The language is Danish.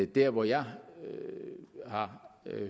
dér hvor jeg har